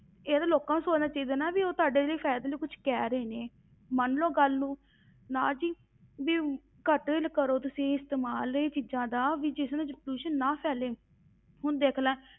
ਇਹ ਤੇ ਲੋਕਾਂ ਨੂੰ ਸੋਚਣਾ ਚਾਹੀਦਾ ਨਾ ਵੀ ਤੁਹਾਡੇ ਲਈ ਫ਼ਾਇਦੇ ਲਈ ਕੁਛ ਕਹਿ ਰਹੇ ਨੇ, ਮੰਨ ਲਓ ਗੱਲ ਨੂੰ ਨਾ ਜੀ ਵੀ ਘੱਟ ਕਰੋ ਤੁਸੀਂ ਇਸਤੇਮਾਲ ਇਹ ਚੀਜ਼ਾਂ ਦਾ ਵੀ ਜਿਸ ਨਾਲ ਜੋ ਪ੍ਰਦੂਸ਼ਣ ਨਾ ਫੈਲੇ, ਹੁਣ ਦੇਖ ਲੈ